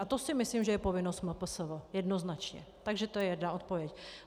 A to si myslím, že je povinnost MPSV jednoznačně, takže to je jedna odpověď.